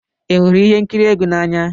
Ị hụrụ ihe nkiri egwu n'anya?